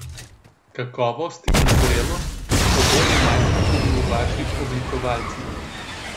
Kakovost in zrelost, oboje najdem tudi v vaših oblikovalcih.